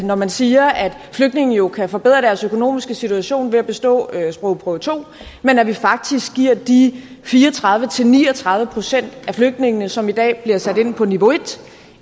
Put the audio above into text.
når man siger at flygtninge jo kan forbedre deres økonomiske situation ved at bestå sprogprøve to men at vi faktisk giver de fire og tredive til ni og tredive procent af flygtningene som i dag bliver sat ind på niveau en